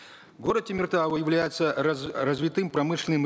город темиртау является развитым промышленным